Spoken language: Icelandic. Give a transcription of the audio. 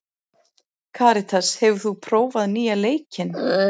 Karitas, hefur þú prófað nýja leikinn?